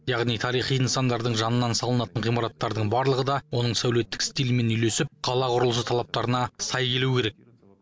яғни тарихи нысандардың жанынан салынатын ғимараттардың барлығы да оның сәулеттік стилімен үйлесіп қала құрылысы талаптарына сай келуі керек